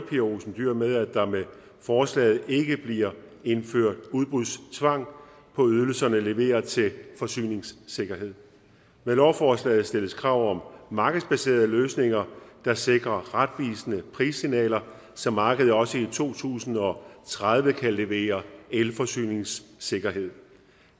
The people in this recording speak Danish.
pia olsen dyhr med at der med forslaget ikke bliver indført udbudstvang på ydelserne leveret til forsyningssikkerhed med lovforslaget stilles krav om markedsbaserede løsninger der sikrer retvisende prissignaler så markedet også i to tusind og tredive kan levere elforsyningssikkerhed